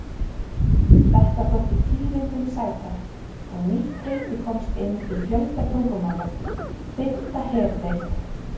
Þetta þótti tíðindum sæta, og nýtt heiti komst inn í fjölda tungumála: Fimmta herdeild.